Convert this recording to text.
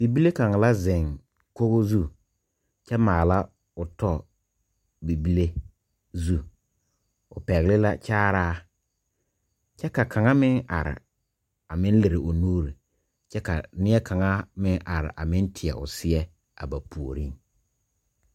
Bibile kang la zeng kogo zu kye maala ɔ tɔ bibile zu pɛgle la kyaaraa kye ka kang meng arẽ a meng liri ɔ nuuri kye ka neɛ kanga meng arẽ a meng teɛ ɔ seɛ a ba poɔring.